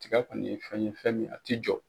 Tiga kɔni ye fɛn ye fɛn min a tɛ jɔ